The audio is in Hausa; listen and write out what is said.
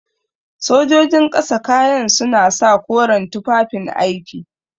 Sojojin ƙasa kayan suna sa koren tufafin aiki.